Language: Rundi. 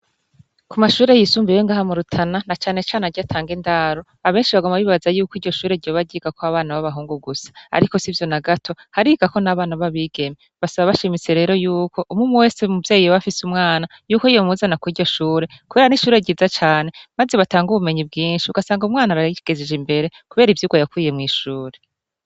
Ku mashure yisumbiyewe ngahamurutana na canecane rya atange ndaru abenshi bagoma bibbaza yuko iryo shure ryo bagiga ko abana babahungu gusa, ariko si vyo na gato harigako n'abana b'abigeme basaba bashimise rero yuko umwu umu wese muvyeyi wafise umwana yuko iyo muzana ko iryo shure, kubera n'ishure ryiza cane, maze batanga ubumenyi bwinshi ugasanga umwana araigezije imbere, kubera ivyuka yakwiye mw'ishuri.